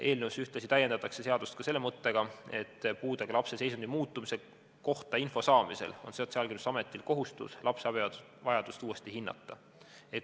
Eelnõuga täiendatakse seadust ka selle mõttega, et puudega lapse seisundi muutumise kohta info saamisel on Sotsiaalkindlustusametil kohustus lapse abivajadust uuesti hinnata.